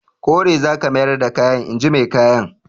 Kore za ka mayar da kayan! in ji mai kayan.